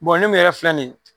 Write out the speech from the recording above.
ne mun yɛrɛ filɛ nin .